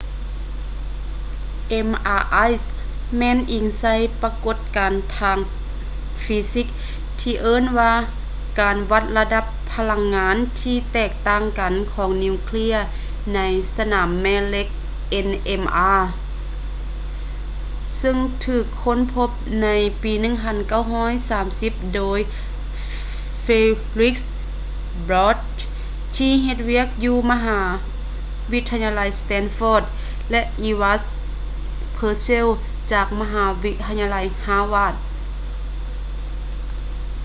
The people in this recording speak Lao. mri ແມ່ນອີງໃສ່ປະກົດການທາງຟີຊິກທີ່ເອີ້ນວ່າການວັດລະດັບພະລັງງານທີ່ແຕກຕ່າງກັນຂອງນິວເຄຼຍໃນສະໜາມແມ່ເຫຼັກ nmr ເຊິ່ງຖືກຄົ້ນພົບໃນປີ 1930 ໂດຍ felix bloch ທີ່ເຮັດວຽກຢູ່ມະຫາວິທະຍາໄລ stanford ແລະ edward purcell ຈາກມະຫາວິທະຍາໄລ harvard